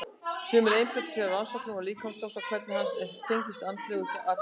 Sumir einbeita sér að rannsóknum á líkamsþroska og hvernig hann tengist andlegu atgervi.